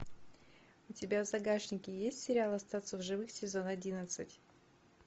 у тебя в загашнике есть сериал остаться в живых сезон одиннадцать